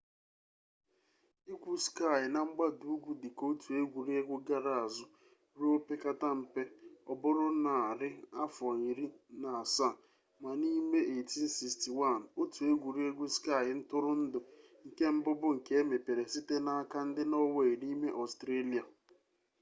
igwu skii na mgbada ugwu dị ka otu egwuregwu gara azụ ruo opekata mpe ọ bụrụ na arị afọ iri na asaa ma n'ime 1861 otu egwuregwu skii ntụrụndụ nke mbụ bụ nke emepere site n'aka ndị nọọwei n'ime ọstrelịa